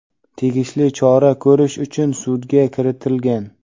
tegishli chora ko‘rish uchun sudga kiritilgan.